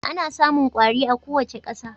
Ana samun kwari a kowace ƙasa